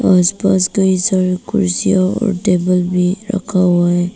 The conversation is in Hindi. आसपास कई सारा कुर्सीया और टेबल भी रखा हुआ है।